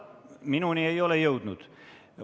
Minuni ei ole see jõudnud.